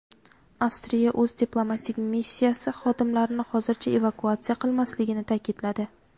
Avstriya o‘z diplomatik missiyasi xodimlarini hozircha evakuatsiya qilmasligini ta’kidladi.